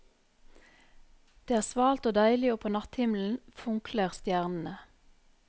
Det er svalt og deilig og på natthimmelen funkler stjernene.